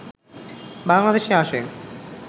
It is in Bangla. বাংলাদেশে আসে